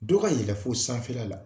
Dɔ yɛlɛn fo sanfɛla la